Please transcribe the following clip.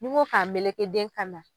Nin ko ka mɛlɛkɛ den kan nan.